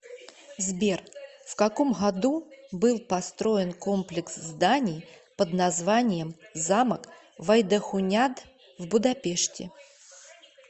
сбер в каком году был построен комплекс зданий под названием замок вайдахуняд в будапеште